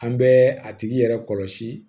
An bɛ a tigi yɛrɛ kɔlɔsi